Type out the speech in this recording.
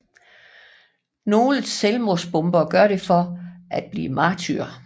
Nogle selvmordsbombere gør det for at blive martyrer